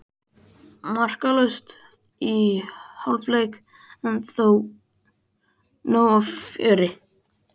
Markalaust í hálfleik en þó nóg af fjöri.